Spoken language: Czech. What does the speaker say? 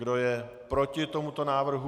Kdo je proti tomuto návrhu?